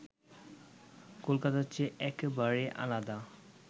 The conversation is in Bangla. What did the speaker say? কলকাতার চেয়ে একেবারে আলাদা